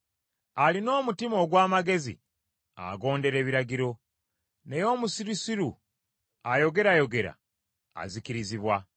Alina omutima ogw’amagezi agondera ebiragiro, naye omusirusiru ayogerayogera, azikirizibwa.